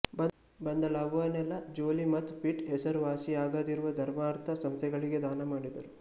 ಬಂದ ಲಾಭವನ್ನೆಲ್ಲಾ ಜೋಲೀ ಮತ್ತು ಪಿಟ್ ಹೆಸರುವಾಸಿಯಾಗದಿರುವ ಧರ್ಮಾರ್ಥ ಸಂಸ್ಥೆಗಳಿಗೆ ದಾನಮಾಡಿದರು